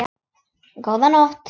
Góða nótt.